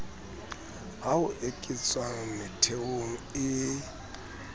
ha ho eketswa metheong e